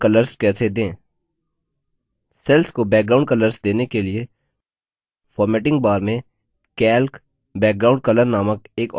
cells को background colors देने के लिए formatting बार में calc background color नामक एक option प्रदान करता है